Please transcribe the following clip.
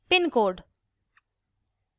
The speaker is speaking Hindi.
pincode